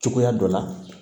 Cogoya dɔ la